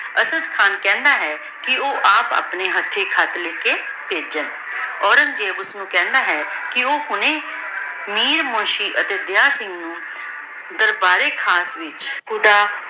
ਅਸਾਡਾ ਖਾਨ ਕਹੰਦਾ ਹੈ ਕੇ ਊ ਆਪ ਅਪਨੇ ਹਾਥੀ ਖ਼ਤ ਲੇ ਕੇ ਭੇਝ੍ਯ ਔਰੇਗ੍ਨ੍ਗ੍ਜ਼ੇਬ ਓਹਨੁ ਕਹੰਦਾ ਹੈ ਕੇ ਊ ਕੋਈ ਮੀਰ ਮੁਨਸ਼ੀ ਅਤੀ ਦਿਯਾਲ ਸਿੰਘ ਨੂ ਦਰਬਾਰ ਏ ਖਾਸ ਵਿਚ